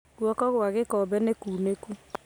Guoko kwa gĩkombe nĩ kuunĩku